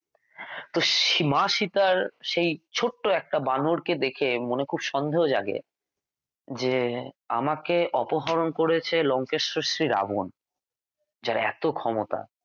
তো সে মা সীতা র সেই ছোট্ট একটা বানরকে দেখে মনে খুব সন্দেহ জাগে যে আমাকে অপহরণ করেছে লঙ্কেশ্বর শ্রীরাবন যার এত ক্ষমতা